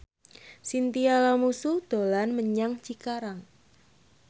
Chintya Lamusu dolan menyang Cikarang